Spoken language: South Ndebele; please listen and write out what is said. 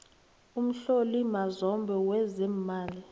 umhloli mazombe wezeemali